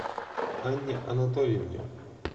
анне анатольевне